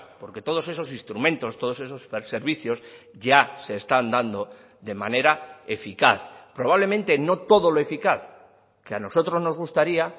porque todos esos instrumentos todos esos servicios ya se están dando de manera eficaz probablemente no todo lo eficaz que a nosotros nos gustaría